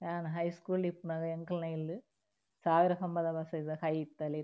ಯಾನ್ ಹೈಸ್ಕೂಲ್ ಡ್ ಇಪ್ಪುನಗ ಎಂಕಲ್ನ ಇಲ್ಲ್ ಸಾವಿರ ಕಂಬದ ಬಸದಿದ ಕೈತಲೆ ಇತ್ತ್ಂಡ್.